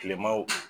Kilemaw